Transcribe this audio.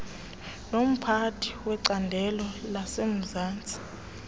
nomphathi wecandelo lasemzantsi